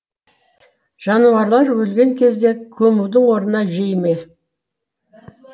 жануарлар өлген кезде көмудің орнына жей ме